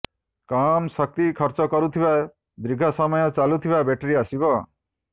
କମ୍ ଶକ୍ତି ଖର୍ଚ୍ଚ କରୁଥିବା ଦୀର୍ଘ ସମୟ ଚାଲୁଥିବା ବ୍ୟାଟେରୀ ଆସିବ